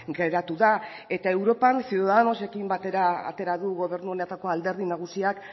geratu da eta europan ciudadanosekin batera atera du gobernu honetako alderdi nagusiak